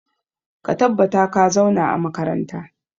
Ka tabbata ka zauna a makaranta!